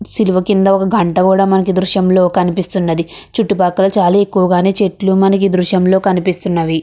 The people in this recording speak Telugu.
సిలువ కింద ఒక గంట మనకి కూడా కనిపిస్తున్నది. చుట్టూ పక్కల మనకి చెట్లు కూడా చాలానే కనిపిస్తున్నది.